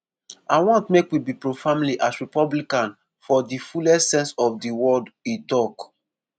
"i want make we be pro-family as republican for di fullest sense of di word” e tok.